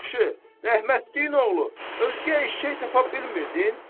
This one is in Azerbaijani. Yaxşı, rəhmətliyin oğlu, özgə eşşək tapa bilmirdin?